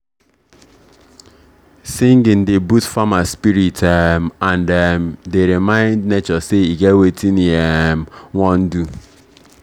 singing dey boost farmer spirit um and um dey remind nature say e get wetin e um wan do.